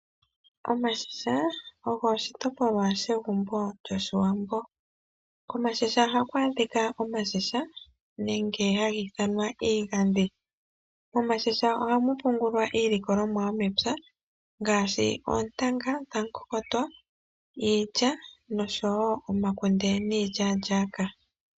Omashisha ogwo oshitopolwa shegumbo lyo shiwambo. Komashisha ohaku adhika omashisha nenge haga ithanwa iigadhi. Momashisha ohamu pungulwa iilikolomwa yomepya ngashi ontanga dhakokotwa iilya noshowo omakunde nilyalyaka